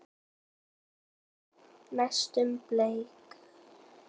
Næstum bleik.